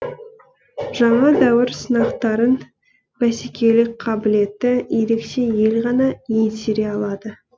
жаңа дәуір сынақтарын бәсекелік қабілеті ерекше ел ғана еңсере алады